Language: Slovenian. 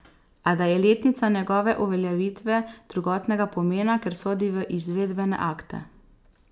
A da je letnica njegove uveljavitve drugotnega pomena, ker sodi v izvedbene akte.